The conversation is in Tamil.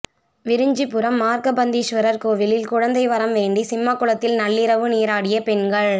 விரிஞ்சிபுரம் மார்கபந்தீஸ்வரர் கோயிலில் குழந்தை வரம் வேண்டி சிம்மகுளத்தில் நள்ளிரவு நீராடிய பெண்கள்